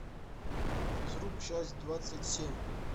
физрук часть двадцать семь